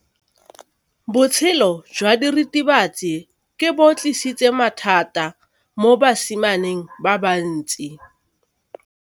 Botshelo jwa diritibatsi ke bo tlisitse mathata mo basimaneng ba bantsi.